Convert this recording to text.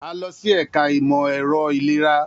A lọ si ẹka imọ-ẹrọ ilera.